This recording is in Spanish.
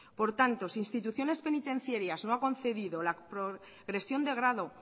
por tanto si instituciones penitenciarias no ha concedido la progresión de grado